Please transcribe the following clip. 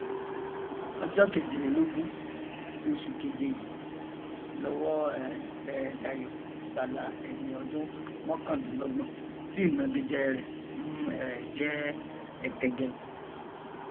ọjọ kejìlélógún oṣù keje yìí lọwọ um tẹ dayo abala ẹni ọdún mọkàndínlọgbọn tí ìnagijẹ rẹ ń um jẹ ọtẹgẹ